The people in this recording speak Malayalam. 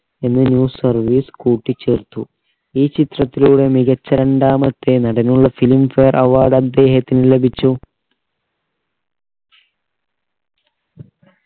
എന്നീ service കൂട്ടിച്ചേർത്തു ഈ ചിത്രത്തിലൂടെ മികച്ച രണ്ടാമത്തെ നടനുള്ള filmfare award അദ്ദേഹത്തിന് ലഭിച്ചു